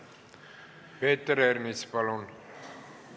Peeter Ernits, palun!